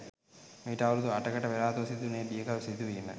මීට අවුරුදු අටකට පෙරාතුව සිදුවුණු ඒ බියකරු සිදුවීම